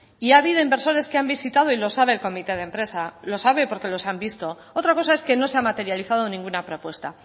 y ha habido inversores que han visitado y lo sabe el comité de empresa lo sabe porque los han visto otra cosa es que no se ha materializado ninguna propuesta